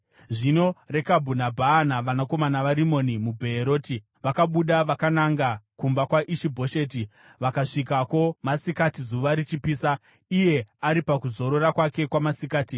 Zvino Rekabhu naBhaana, vanakomana vaRimoni muBheeroti, vakabuda vakananga kumba kwaIshi-Bhosheti, vakasvikako masikati zuva richipisa iye ari pakuzorora kwake kwamasikati.